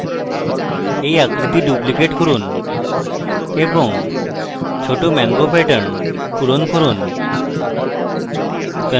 এই আকৃতি duplicate করুন এবং ছোট mango pattern পূরণ করুন